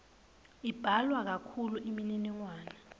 imbalwa kakhulu imininingwane